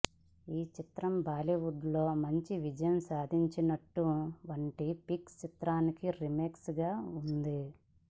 ఈ చిత్రం బాలీవుడ్ లో మంచి విజయం సాధించినటువంటి పింక్ చిత్రానికి రీమేక్ గా ఉంది